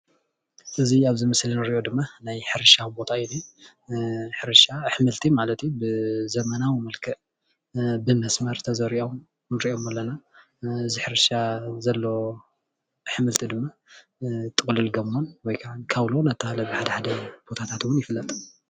እዚ ኣብ ምስሊ እንሪኦ ድማ ናይ ሕርሻ ቦታ እዩ፣ ብሕርሻ ኣሕምልቲ ማለት እዩ ብዘበናዊ መልክዕ ብመስመር ተዘሪኦም ንሪኦም ኣለና፣ እዚ ሕርሻ ዘለዎ ኣሕምልቲ ድማ ጥቅልል ጎመን ወይ ከዓ ካውሎ እናተባሃለ ብሓድሓደ ቦታታት እዉን ይፍለጥ፡፡